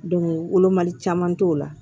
wolomali caman t'o la